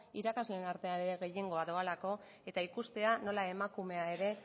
irakasleen artean ere gehiengoa doalako eta ikustea nola emakumea ere